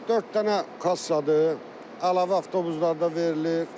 Dörd dənə kassadır, əlavə avtobuslarda verilir.